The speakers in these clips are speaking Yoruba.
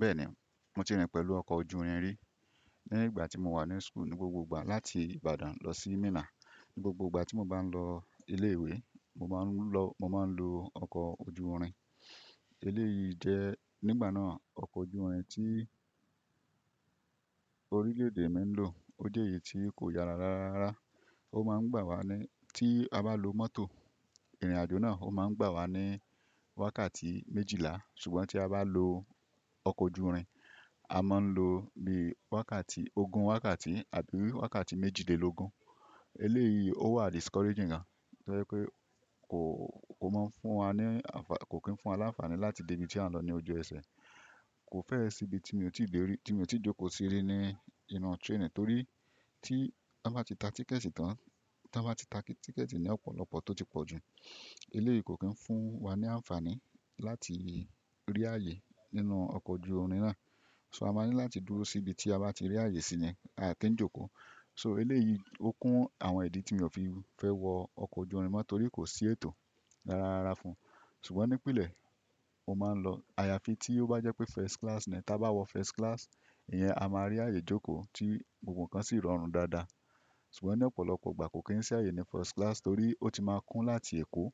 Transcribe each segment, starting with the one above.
Bẹ́ẹ̀ni, mo ti rìn pẹ̀lú ọkọ̀ ojú irin rí. Ní ìgbà tí mo wà ní school ní gbogbo ìgbà láti Ìbàdàn lọ sí Minna. Ni gbogbo ìgbà tí mo bá ń lọ ilé ìwé, mo máa ń lọ, mo máa ń lo ọkọ̀ ojú irin. Eléyìí jẹ́ nígbà náà ọkọ̀ ojú irin tí orílè-èdè mi ń lò. Ó jẹ́ èyí tí kò yàrá dáadáa. Ó máa ń gbà wá ní tí a bá lo mọ́tò ìrìn-àjò náà, ó máa ń gbà wá ní wákàtí méjìlá. Ṣùgbọ́n tí a bá lo ọkọ̀ ojú irin, a máa ń lo ní wákàtí ogún wákàtí àbí wákàtí méjìdínlógún. Eléyìí ó wà discouraging gan. Tori pé kò, kò mọ́ ń fún wa ní ànfàní, kò kí ń fún wa ní ànfàní láti dé ibi tí a ń lọ ní ojú ẹsẹ̀. Kò fẹ́ ẹ sí ibi tí mo ti dè rí, tí mi oo ti jókòó sí rí ní inú train torí tí a bá ti ta tíkẹ̀ẹ̀tì tán, tí wọ́n bá ti ta tíkẹ̀ẹ̀tì ní ọ̀pọ̀lọpọ̀ tó ti pọ̀ jù. Eléyìí kò kí ń fún wa ní ànfàní láti rí ààyè nínú ọkọ̀ ojú irin náà. So a máa ní láti dúró sí ibi tí a bá ti rí ààyè sí ni, aà kí ń jókòó. So eléyìí ó kún àwọn ìdí tí mi ò fi fẹ́ wọ ọkọ̀ ojú irin mọ́ torí kò sí ètò dáadáa fún un. Ṣùgbọ́n ní ìpìlẹ̀ mo máa ń lọ. Àyàfi tí ó bá jẹ́ pé first class ni ẹ́. Tí a bá wọ first class, ìyẹn a máa rí ààyè jókòó tí gbogbo ǹkan sì rọrùn dáadáa. Ṣùgbọ́n ní ọ̀pọ̀lọpọ̀ ìgbà kò kí ń sí ààyè ní first class torí ó ti máa kún láti Èkó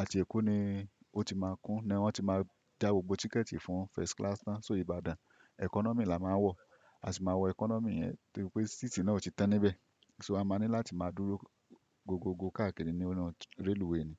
àti Èkó ni ó ti máa kún ni wọ́n ti máa já gbogbo tíkẹ̀ẹ̀tì fún first class tán. So Ìbàdàn economy la máa wọ̀. A sì máa wọ economy yẹn torí pé síìtì náà ò ti tan níbẹ̀. So a máa ní láti máa dúró gbogbogbò káàkiri ní ọ̀nà railway ni.